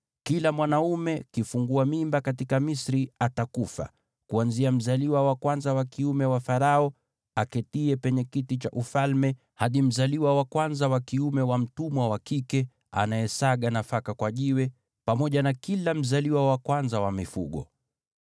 Kila mwanaume kifungua mimba katika Misri atakufa, kuanzia mzaliwa wa kwanza wa kiume wa Farao, aketiye penye kiti cha ufalme, hadi mzaliwa wa kwanza wa kiume wa mtumwa wa kike, anayesaga nafaka kwa jiwe, pamoja na kila mzaliwa wa kwanza wa mifugo.